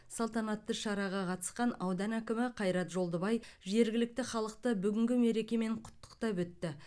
салтанатты шараға қатысқан аудан әкімі қайрат жолдыбай жергілікті халықты бүгінгі мерекемен құттықтап өтті